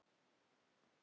Hin Evrópu